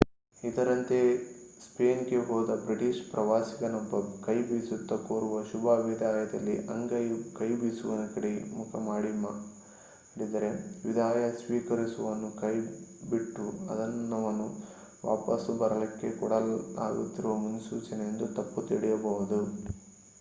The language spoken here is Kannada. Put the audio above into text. ಇದರಂತೆಯೇ ಸ್ಪೇನ್ ಗೆ ಹೋದ ಬ್ರಿಟಿಷ್ ಪ್ರವಾಸಿಗನೊಬ್ಬ ​​ಕೈಬೀಸುತ್ತಾ ಕೋರುವ ಶುಭ ವಿದಾಯದಲ್ಲಿ ಅಂಗೈಯು ಕೈಬೀಸುವವನ ಕಡೆಗೆ ಮುಖ ಮಾಡಿದ್ದರೆ ವಿದಾಯ ಸ್ವೀಕರಿಸುವವನನ್ನು ಬಿಟ್ಟು ಅದನ್ನವನು ವಾಪಸು ಬರಲಿಕ್ಕೆ ಕೊಡಲಾಗುತ್ತಿರುವ ಸೂಚನೆಯೆಂದು ತಪ್ಪು ತಿಳಿಯಬಹುದು